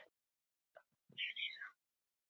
Ekki bað ég um að vera réttarvitni.